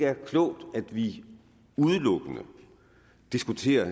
er klogt at vi udelukkende diskuterer